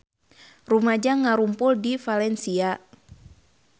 Rumaja ngarumpul di Valencia